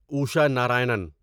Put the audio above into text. Isha Narayanan